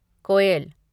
कोएल